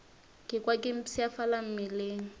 ka kwa ke mpshafala mmeleng